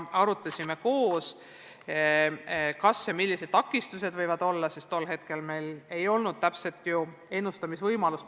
Arutasime koos, kas ja milliseid takistusi võib ette tulla, sest tol hetkel meil ei olnud ju pandeemia kohta täpset ennustust.